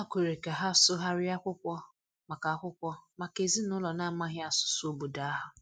Ha kwere ka ha sụgharịa akwụkwọ maka akwụkwọ maka ezinụlọ na-amaghị asụsụ obodo ahụ.